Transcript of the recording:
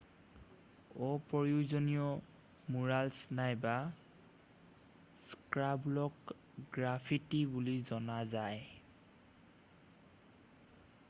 অপ্ৰয়োজনীয় মুৰালছ্ নাইবা স্ক্ৰাইবুলক গ্ৰাফিটি বুলি জনা যায়৷